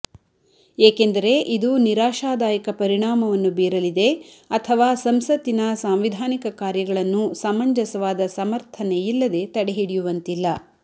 ಏಕೆಂದರೆ ಇದು ನಿರಾಶದಾಯಕ ಪರಿಣಾಮವನ್ನು ಬೀರಲಿದೆ ಅಥವಾ ಸಂಸತ್ತಿನ ಸಾಂವಿಧಾನಿಕ ಕಾರ್ಯಗಳನ್ನು ಸಮಂಜಸವಾದ ಸಮರ್ಥನೆಯಿಲ್ಲದೆ ತಡೆಹಿಡಿಯುವಂತಿಲ್ಲ